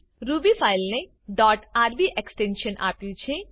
Ruby ફાઈલને dot RB extension આપ્યું છે